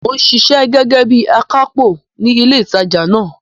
Mò ń ṣiṣẹ́ gẹ́gẹ́ bí akápò ní ilé ìtajà náà.